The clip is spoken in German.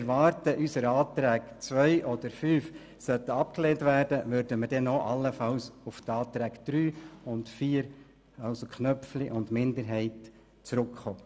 Sollten unsere Anträge 2 oder 5 wider Erwarten abgelehnt werden, würden wir dann allenfalls auf die Anträge 3/Köpfli und 4/FiKo-Minderheit zurückkommen.